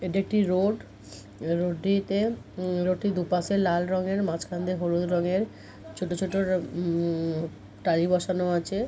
এটা একটি road road টিতে রোড টির দুপাশে লাল রঙের মাঝখান দিয়ে হলুদ রঙের ছোট ছোট হুম টালি বসানো আছে --